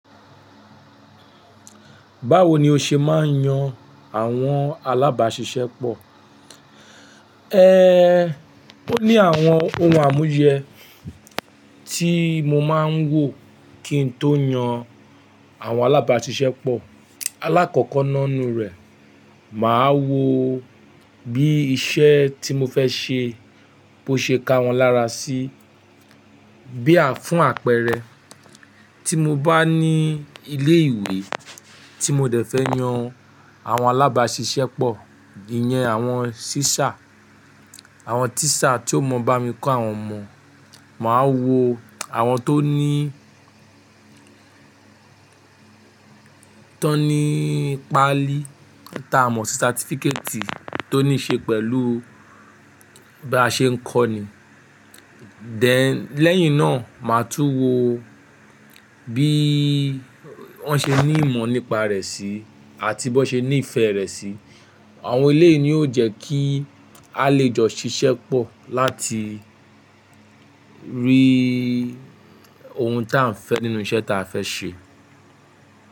Báwo ni o ṣe máa ń yan àwọn alábàáṣiṣẹ́ pọ̀? Ehn, ó ní àwọn ohun àmúyẹ tí mo máa ń wo kí n tó yan àwọn alábáṣiṣẹ́ pọ̀. Alákọ̀ọ́kọ́ náá nu rẹ̀, màá wo bí iṣẹ́ tí mo fẹ́ ṣe bó ṣe ka wọ́n lára sí. Bí à fún àpẹẹrẹ, tí mo bá ní ilé ìwé tí mo dẹ̀ fẹ́ yan àwọn alábáṣiṣẹ́ pọ̀, ìyẹn àwọn teacher, àwọn teacher tí ó ma bá mi kọ́ àwọn ọmọ. Màá wo àwọn tó ní, tó ní páálí táa mọ̀ sí certificate tó ní ṣe pẹ̀lú bí a ṣe ń kọ́ ni. Then lẹ́yìn náà, màá tún wo bí wọ́n ṣe ní ìmọ̀ nípa rẹ̀ sí àti bó ṣe ní ìfẹ́ rẹ̀ sí. Àwọn eléyi ni ó jẹ́ kí a lè jọ ṣiṣẹ́ pọ̀ láti rí ohun ta a fẹ́ nínú iṣẹ́ ta a fẹ́ ṣe.